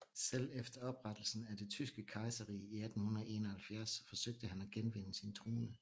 Selv efter oprettelsen af Det Tyske Kejserrige i 1871 forsøgte han at genvinde sin trone